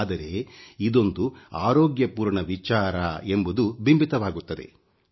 ಆದರೆ ಇದೊಂದು ಆರೋಗ್ಯಪೂರ್ಣ ವಿಚಾರ ಎಂಬುದು ಬಿಂಬಿತವಾಗುತ್ತದೆ